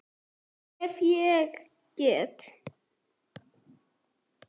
Ef ég get.